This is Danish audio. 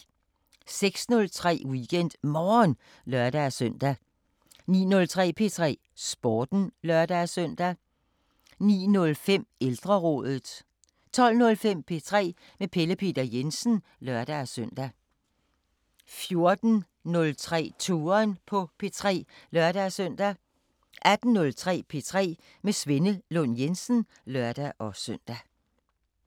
06:03: WeekendMorgen (lør-søn) 09:03: P3 Sporten (lør-søn) 09:05: Ældrerådet 12:05: P3 med Pelle Peter Jensen (lør-søn) 14:03: Touren på P3 (lør-søn) 18:03: P3 med Svenne Lund Jensen (lør-søn)